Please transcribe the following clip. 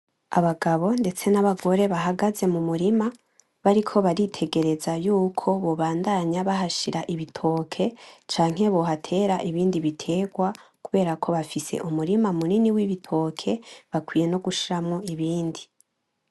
Abagabo ndetse nabagore bahagaze mumurima bariko baritegereza yuko bobandanya bahashira ibitoke canke bohatera ibindi bitoke kubera ko bafise umurima munini wibitoke bakwiye no gushiramwo ibindi